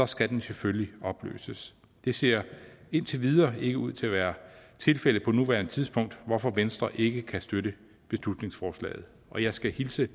skal den selvfølgelig opløses det ser indtil videre ikke ud til at være tilfældet på nuværende tidspunkt hvorfor venstre ikke kan støtte beslutningsforslaget og jeg skal hilse